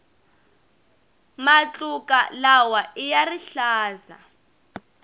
matluka lawaiya rihlaza